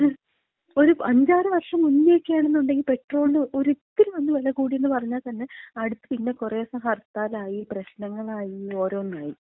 ഒരഞ്ചാറ് വർഷം മുന്നേക്ക ആണെന്നൊണ്ടങ്കി പെട്രോളിന് ഒരിത്തിരി ഒന്ന് വെല കൂടീന്ന് പറഞ്ഞാ തന്ന അടുത്ത് പിന്ന കൊറേ ദിവസം ഹർത്താലായി, പ്രശ്നങ്ങളായി ഓരോന്നായി.